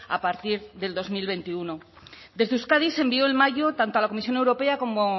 a partir del dos mil veintiuno desde euskadi se envió en mayo tanto a la comisión europea como